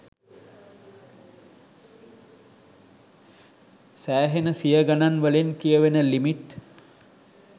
සෑහෙන සිය ගනන් වලින් කියවෙන ලිමිට්.